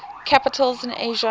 capitals in asia